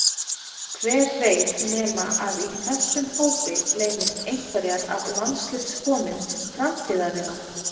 Hver veit nema að í þessum hópi leynist einhverjar af landsliðskonum framtíðarinnar?